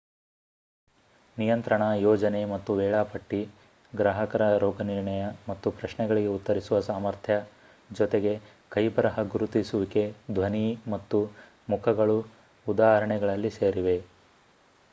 ನಿಯಂತ್ರಣ ಯೋಜನೆ ಮತ್ತು ವೇಳಾಪಟ್ಟಿ ಗ್ರಾಹಕರ ರೋಗನಿರ್ಣಯ ಮತ್ತು ಪ್ರಶ್ನೆಗಳಿಗೆ ಉತ್ತರಿಸುವ ಸಾಮರ್ಥ್ಯ ಜೊತೆಗೆ ಕೈಬರಹ ಗುರುತಿಸುವಿಕೆ ಧ್ವನಿ ಮತ್ತು ಮುಖಗಳು ಉದಾಹರಣೆಗಳಲ್ಲಿ ಸೇರಿವೆ